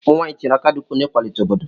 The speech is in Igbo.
Ụmụnwaanyị tinyere aka dị ukwuu n'ịkwalite obodo.